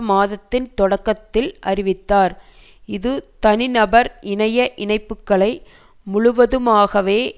மாதத்தின் தொடக்கத்தில் அறிவித்தார் இது தனிநபர் இணைய இணைப்புகளை முழுவதுமாகவே